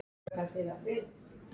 Það hlýtur að vera.